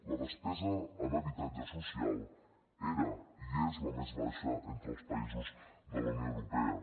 la despesa en habitatge social era i és la més baixa entre els països de la unió europea